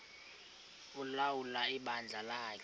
ulawula ibandla lakhe